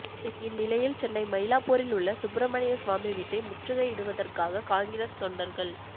இந்நிலையில் சென்னை மயிலாப்பூரில் உள்ள சுப்பிரமணியசாமி வீட்டை முற்றுகையிடுவதற்காக காங்கிரஸ் தொண்டர்கள்